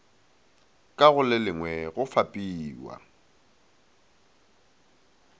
ka go lelengwe le fapiwa